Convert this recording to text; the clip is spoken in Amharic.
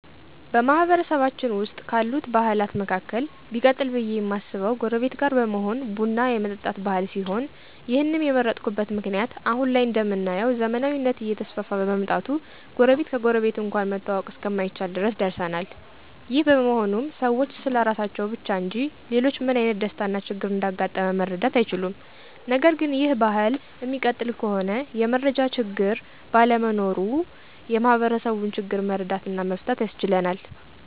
በማህበረሰባችን ዉስጥ ካሉት ባህላት መካከል ቢቀጥል ብዬ እማስበው ጎረቤት ጋር በመሆን ቡን የመጠጣት ባህል ሲሆን ይህንም የመረጥኩበት ምክንያት አሁን ላይ እንደምናየው ዘመናዊነት እየተስፋፋ በመምጣቱ ጎረቤት ከጎረቤት እንኳን መተዋወቅ እስከማይቻል ድረስ ደርሰናል። ይህ በመሆኑም ሰዎች ስለራሳቸው ብቻ እንጂ ሌሎችጋ ምን አይነት ደስታ እና ችግር እንዳጋጣመ መረዳት አይችሉም። ነገርግን ይህ ባህል እሚቀጥል ከሆነ የመረጃ ችግር ባለመኖሩ የማህበረሰቡን ችግር መረዳት እና መፍታት ያስችለናል።